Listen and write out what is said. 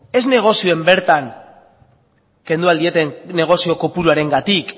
ez negozioan bertan kendu ahal dioten negozio kopuruarengatik